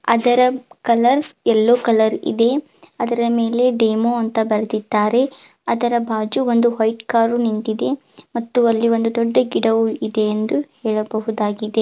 ಅದರ colour yellow colour ಇದೆ ಅದರ ಮೇಲೆ ಡೆಮೋ ಅಂತ ಬರ್ದಿದ್ದಾರೆ ಅದರ ಬಾಜು ಒಂದು ವೈಟ್ ಕಾರು ನಿಂತಿದೆ ಮತ್ತು ಅಲ್ಲಿ ಒಂದು ದೊಡ್ಡ ಗಿಡವು ಇದೆ ಎಂದು ಹೇಳಬಹುದಾಗಿದೆ.